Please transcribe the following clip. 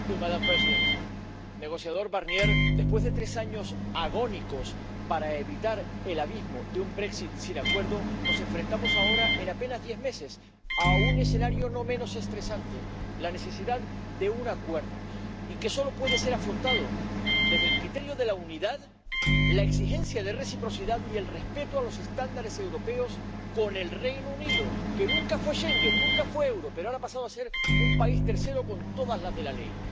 Señora presidenta, señor negociador Barnier, después de tres años agónicos para evitar el abismo de un sin acuerdo, nos enfrentamos ahora en apenas diez meses a un escenario no menos estresante ―la necesidad de un acuerdo― y que solo puede ser afrontado desde el criterio de la unidad, la exigencia de reciprocidad y el respeto de los estándares europeos con el Reino Unido, que nunca fue Schengen, nunca fue euro y ahora ha pasado a ser un país tercero con todas las de la ley.